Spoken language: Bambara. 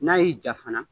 N'a y'i ja fana